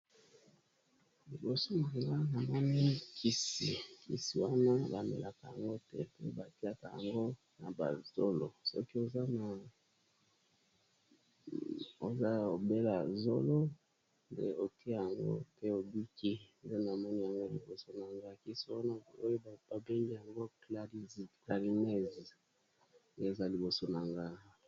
Liboso nanga moni kisi, kisi wana ba melaka yango te mpe batiaka yango na ba zolo soki oza na obela zolo nde otie yango pe obiki nde na moni yango liboso na nga kisi wana oyo ba bengi yango clarines eza liboso na nga.